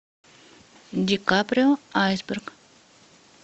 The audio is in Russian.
ди каприо айсберг